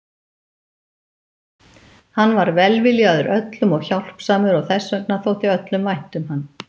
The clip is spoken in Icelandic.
Hann var velviljaður öllum og hjálpsamur og þess vegna þótti öllum vænt um hann.